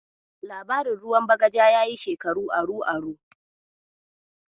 Labarin ruwan bagaja yayi shekaru aru-aru.